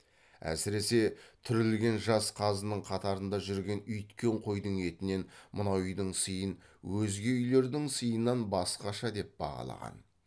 әсіресе түрілген жас қазының қатарында жүрген үйіткен қойдың етінен мынау үйдің сыйын өзге үйлердің сыйынан басқаша деп бағалаған